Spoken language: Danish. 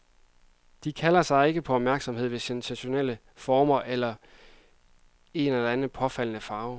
De kalder ikke på opmærksomhed ved sensationelle former eller en eller anden påfaldende farve.